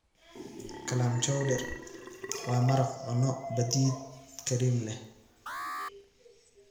Clam chowder waa maraq cunno badeed kiriim leh.